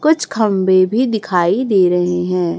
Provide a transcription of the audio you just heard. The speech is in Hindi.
कुछ खंभे भी दिखाई दे रहे है।